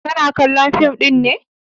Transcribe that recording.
Kana kallon fim ɗin ne?